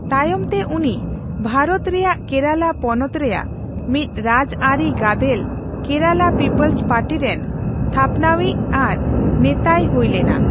ᱛᱟᱭᱚᱢ ᱛᱮ ᱩᱱᱤ ᱵᱷᱟᱨᱚᱛ ᱨᱮᱭᱟᱜ ᱠᱮᱨᱟᱞᱟ ᱯᱚᱱᱚᱛ ᱨᱮᱭᱟᱜ ᱢᱤᱫ ᱨᱟᱡᱽ ᱟᱹᱨᱤ ᱜᱟᱫᱮᱞ ᱠᱮᱨᱟᱞᱟ ᱯᱤᱯᱚᱞᱥ ᱯᱟᱨᱴᱤ ᱨᱮᱱ ᱛᱷᱟᱯᱱᱟᱣᱤᱡ ᱟᱨ ᱱᱮᱛᱟᱭ ᱦᱩᱭ ᱞᱮᱱᱟ ᱾